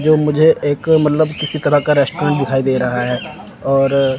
जो मुझे एक मतलब किसी तरह का रेस्टोरेंट दिखाई दे रहा है और--